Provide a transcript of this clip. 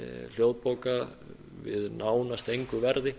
hljóðbóka við nánast engu verði